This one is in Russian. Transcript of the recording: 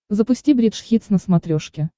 запусти бридж хитс на смотрешке